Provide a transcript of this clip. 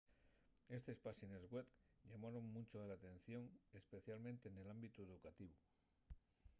estes páxines web llamaron muncho l'atención especialmente nel ámbitu educativu